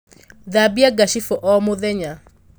Thambia ngacibū o mūthenya.